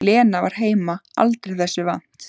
Lena var heima aldrei þessu vant.